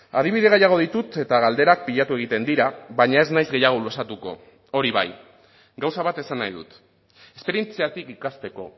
adibide gehiago ditut eta galderak pilatu egiten dira baina ez naiz gehiago luzatuko hori bai gauza bat esan nahi dut esperientziatik ikasteko